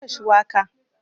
Na yanka shuwaka